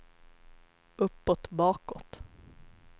uppåt bakåt